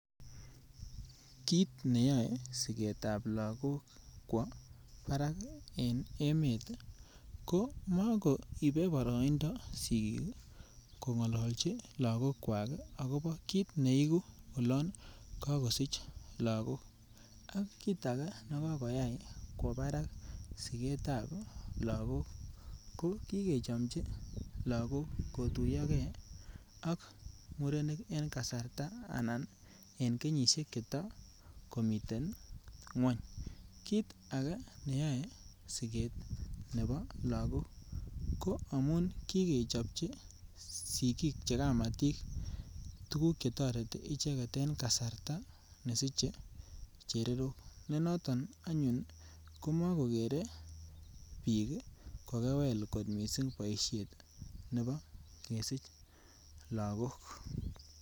Kit neyoe siketab lagok kwo barak en emet ko mo koibe boroindo sigik kongolochi lagogwak akobo kit neigu olon kagosich lagok kit age age nekoyai kwo barak sigetab lagok ii ko kigechomji lagok kotuyoge ak murenik en kenyisiek cheto komiten ngwony kit age neyoe sigetab Lagok ko ki kechomji sigik che kamatik tuguk Che toreti ichek is en kasarta nesiche lagok noton anyuun komokogere ko kewel sigetab lagok.